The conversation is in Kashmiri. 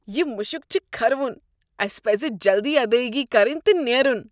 یہ مُشُک چھُ کھرٕوُن ۔ اسہِ پزِ جلدی ادٲیگی كرٕنۍ تہٕ نیرُن۔